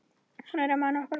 Hún er að mana okkur að koma.